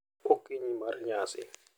Okinyi mar nyasi.